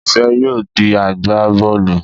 Ìfẹ́ yóò di agbá bọ́ọ̀lù